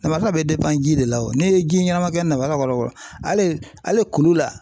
Namasa bɛ ji de la o n'i ye ji ɲɛnama kɛ namasa kɔrɔ kɔni hali hali kulu la .